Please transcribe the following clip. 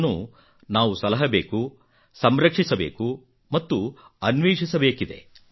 ಇದನ್ನು ನಾವು ಸಲಹಬೇಕು ಸಂರಕ್ಷಿಸಬೇಕು ಮತ್ತು ಅನ್ವೇಷಿಸಬೇಕಿದೆ